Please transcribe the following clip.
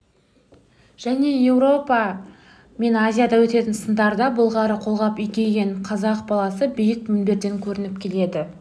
және еуропа мен азияда өтетін сындарда былғары қолғап киген қазақ баласы биік мінберден көрініп келеді